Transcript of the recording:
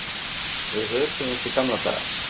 Við hötuðumst í gamla daga